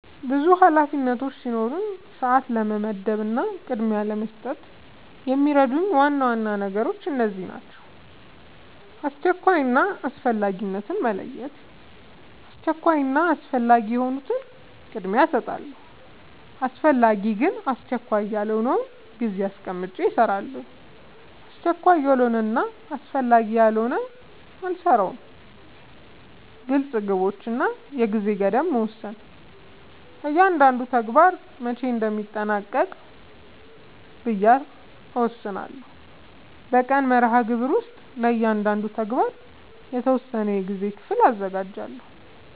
ብዙ ኃላፊነቶች ሲኖሩኝ ሰዓት ለመመደብ እና ቅድሚያ ለመስጠት የሚረዱኝ ዋና ዋና ነገሮች እነዚህ ናቸው :-# አስቸኳይ እና አስፈላጊነትን መለየት:- አስቸኳይ እና አስፈላጊ የሆኑትን ቅድሚያ እሰጣለሁ አስፈላጊ ግን አስቸካይ ያልሆነውን ጊዜ አስቀምጨ እሰራለሁ አስቸካይ ያልሆነና አስፈላጊ ያልሆነ አልሰራውም # ግልፅ ግቦች እና የጊዜ ገደብ መወሰን እያንዳንዱን ተግባር መቼ እንደሚጠናቀቅ ብዬ እወስናለሁ በቀን መርሃግብር ውስጥ ለእያንዳንዱ ተግባር የተወሰነ የጊዜ ክፍል አዘጋጃለሁ